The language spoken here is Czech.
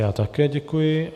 Já také děkuji.